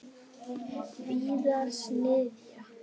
Víðars niðja.